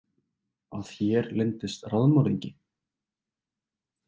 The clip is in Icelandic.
Að hér leyndist raðmorðingi?